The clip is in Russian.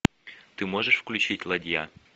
ты можешь включить ладья